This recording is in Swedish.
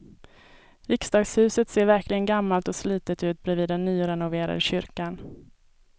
Riksdagshuset ser verkligen gammalt och slitet ut bredvid den nyrenoverade kyrkan.